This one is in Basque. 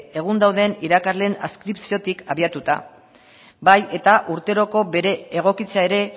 egun dauden irakasleen adskripziotik abiatuta bai eta urteroko bere egokitzea ere